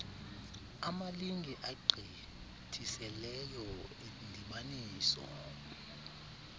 amalinge agqithiseleyo endibaniso